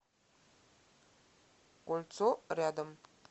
кольцо рядом